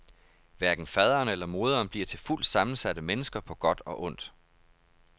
Hverken faderen eller moderen bliver til fuldt sammensatte mennesker på godt og ondt.